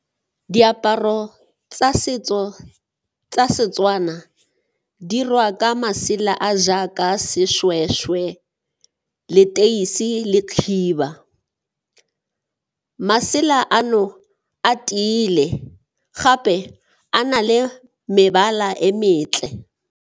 Diaparo tsa setso tsa Setswana di dirwa ka masela a a jaaka seshweshwe, leteisi e le khiba, Masela ano a tiile, gape a na le mebala e mentle.